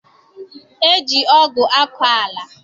E ji ọgụ akọ ala